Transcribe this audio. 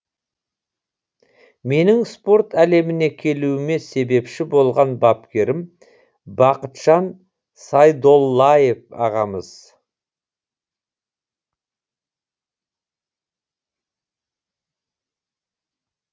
менің спорт әлеміне келуіме себепші болған бапкерім бақытжан сайдоллаев ағамыз